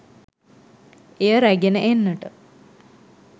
එය රැගෙන එන්නට